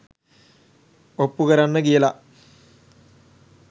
ඔප්පු කරන්න කියලා